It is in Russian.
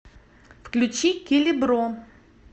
включи келебро